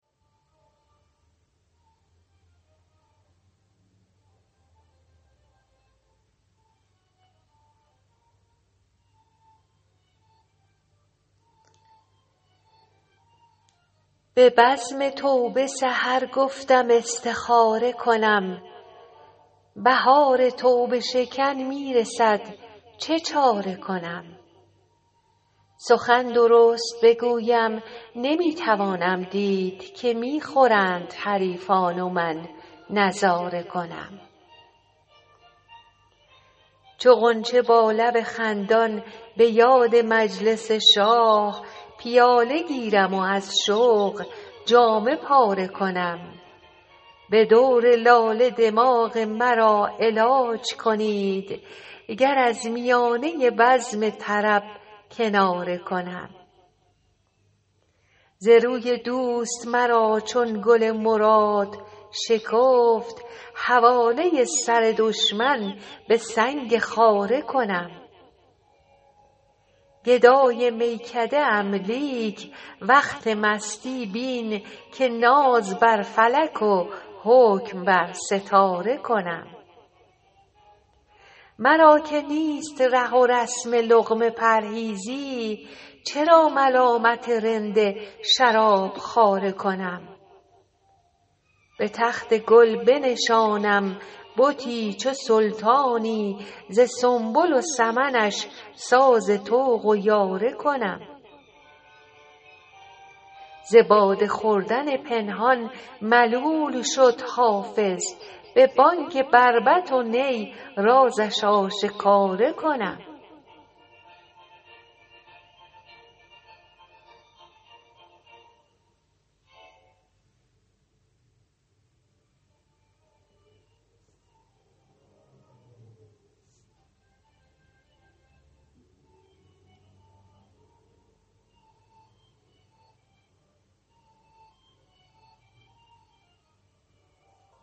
به عزم توبه سحر گفتم استخاره کنم بهار توبه شکن می رسد چه چاره کنم سخن درست بگویم نمی توانم دید که می خورند حریفان و من نظاره کنم چو غنچه با لب خندان به یاد مجلس شاه پیاله گیرم و از شوق جامه پاره کنم به دور لاله دماغ مرا علاج کنید گر از میانه بزم طرب کناره کنم ز روی دوست مرا چون گل مراد شکفت حواله سر دشمن به سنگ خاره کنم گدای میکده ام لیک وقت مستی بین که ناز بر فلک و حکم بر ستاره کنم مرا که نیست ره و رسم لقمه پرهیزی چرا ملامت رند شراب خواره کنم به تخت گل بنشانم بتی چو سلطانی ز سنبل و سمنش ساز طوق و یاره کنم ز باده خوردن پنهان ملول شد حافظ به بانگ بربط و نی رازش آشکاره کنم